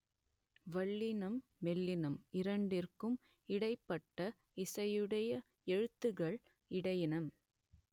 வல்லினம் மெல்லினம் இரண்டிற்கும் இடைப்பட்ட ஓசையுடைய எழுத்துக்கள் இடையினம்